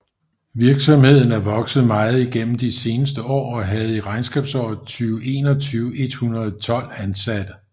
Virksomheden er vokset meget i gennem de seneste år og havde i regnskabsåret 2021 112 ansatte